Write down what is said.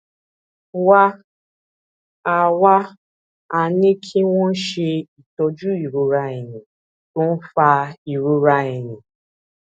wá a wá a ní kí wón ṣe itọju ìrora ẹyìn tó ń fa ìrora ẹyìn